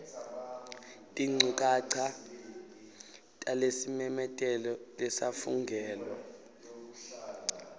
tinchukaca talesimemetelo lesafungelwa